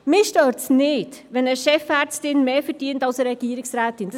Mich stört es nicht, wenn eine Chefärztin mehr als eine Regierungsrätin verdient.